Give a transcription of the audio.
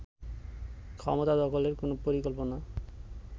ক্ষমতা দখলের কোন পরিকল্পনা